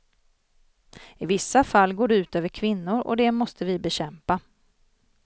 I vissa fall går det ut över kvinnor och det måste vi bekämpa.